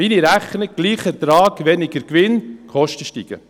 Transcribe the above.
Meine Rechnung: Gleicher Ertrag, weniger Gewinn – die Kosten steigen.